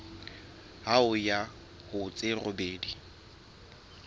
ho ya ho tse robedi